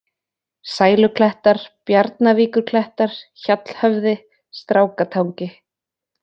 Sæluklettar, Bjarnavíkurklettar, Hjallhöfði, Strákatangi